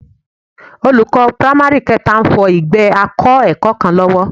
Olùkọ́ pámárì kẹta ń fọ ìgbẹ́ akẹ́kọ̀ọ́ kan lọ́wọ́